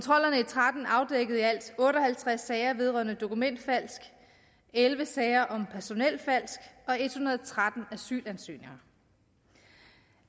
tretten afdækkede i alt otte og halvtreds sager vedrørende dokumentfalsk elleve sager om personelfalsk og en hundrede og tretten asylansøgninger